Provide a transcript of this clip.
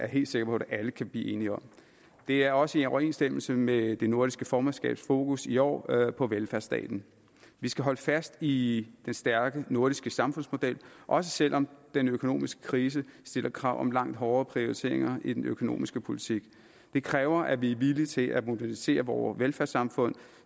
helt sikker på at alle kan blive enige om det er også i overensstemmelse med det nordiske formandskabs fokus i år på velfærdsstaten vi skal holde fast i den stærke nordiske samfundsmodel også selv om den økonomiske krise stiller krav om langt hårdere prioriteringer i den økonomiske politik det kræver at vi er villige til at modernisere vore velfærdssamfund